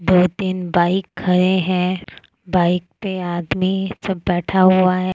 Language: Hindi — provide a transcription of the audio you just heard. दो तीन बाइक खड़े हैं बाइक पे आदमी सब बैठा हुआ है।